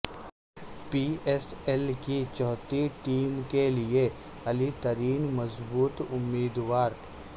پی S L کی چھٹی team کیلئے علی ترین مضبوط امیدوار